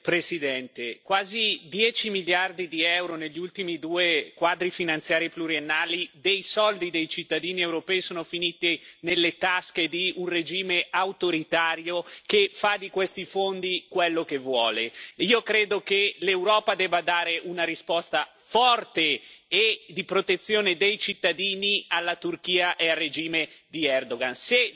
Signora Presidente, onorevoli colleghi, quasi 10 miliardi di euro negli ultimi due quadri finanziari pluriennali dei soldi dei cittadini europei sono finiti nelle tasche di un regime autoritario, che fa di questi fondi quello che vuole. Io credo che l'Europa debba dare una risposta forte e di protezione dei cittadini alla Turchia e al regime di Erdoğan.